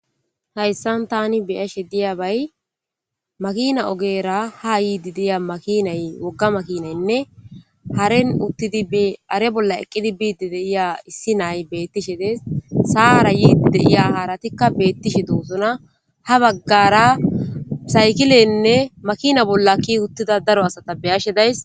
Hayssan tani biyashe diyabay makina ogeera ha yiidi deya makinay wogga makinaynne haren uttidi are bolla eqqidi biidi deiya issi nay bettishe des saara yiidi deiya haaratikka beettishi duusona ha baggara saykileynne makina bolla ki uttida daro asata beyashe days.